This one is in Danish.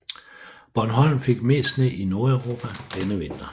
Bornholm fik mest sne i Nordeuropa denne vinter